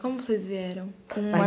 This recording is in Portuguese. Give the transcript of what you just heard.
Com vocês vieram?